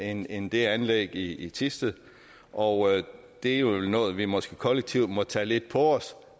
end end det anlæg i thisted og det er jo vel noget vi måske kollektivt må tage lidt på os